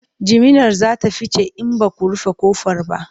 jiminar zata fice in Baku rufe ƙofar ba